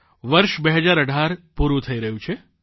વર્ષ 2018 પૂરૂં થઇ રહ્યું છે